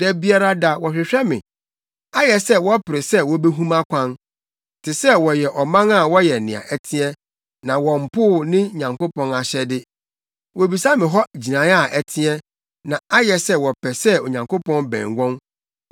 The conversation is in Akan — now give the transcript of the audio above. Da biara da wɔhwehwɛ me; ayɛ sɛ wɔpere sɛ wobehu mʼakwan, te sɛ wɔyɛ ɔman a wɔyɛ nea ɛteɛ na wɔmpoo ne Nyankopɔn ahyɛde. Wobisa me hɔ gyinae a ɛteɛ na ayɛ sɛ wɔpɛ sɛ Onyankopɔn bɛn wɔn.